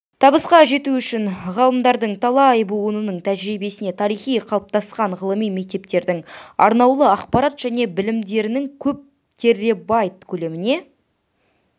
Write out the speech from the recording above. табысқа жету үшін ғалымдардың талай буынының тәжірибесіне тарихи қалыптасқан ғылыми мектептердің арнаулы ақпарат және білімдерінің көп терребайт көлеміне